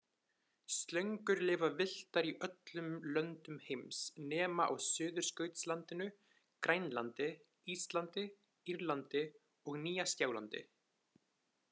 Slöngur lifa villtar í öllum löndum heims nema á Suðurskautslandinu, Grænlandi, Íslandi, Írlandi og Nýja-Sjálandi.